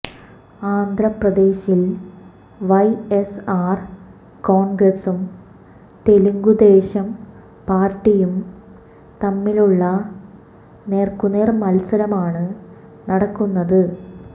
ആന്ധ്രാപ്രദേശിൽ വൈഎസ്ആർ കോൺഗ്രസും തെലുങ്കുദേശം പാർട്ടിയും തമ്മിലുള്ള നേർക്കുനേർ മത്സരമാണ് നടക്കുന്നത്